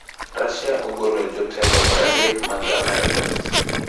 Russia ogolo jotelo 30 mag Amerka